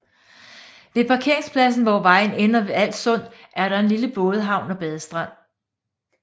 Ved parkeringsladsen hvor vejen ender ved Als Sund er der en lille bådehavn og badestrand